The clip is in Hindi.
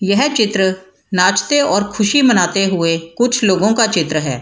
यह चित्र नाचते और ख़ुशी मनाते हुए कुछ लोगो का चित्र हैं ।